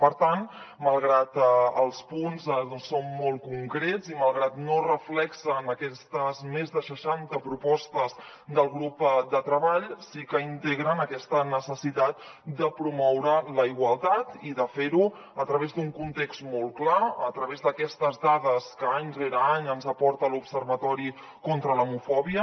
per tant malgrat que els punts són molt concrets i malgrat que no reflecteixen aquestes més de seixanta propostes del grup de treball sí que integren aquesta necessitat de promoure la igualtat i de fer ho a través d’un context molt clar a través d’aquestes dades que any rere any ens aporta l’observatori contra l’homofòbia